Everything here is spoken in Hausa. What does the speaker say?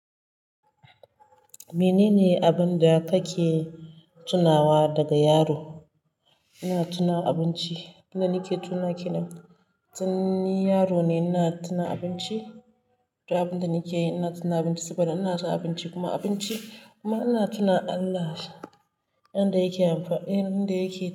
Menene abin da kake tunawa daga yaro? Ina tuna abinci, abin da nake tuna ke nan. Tin ni yaro ne, ina tuna abinci, duk abin da nake yi ina tuna abinci saboda ina so abinci kuma abinci kuma ina tuna Allah, abin da yake amfani, abin da yake yi.